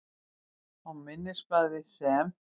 Á minnisblaði, sem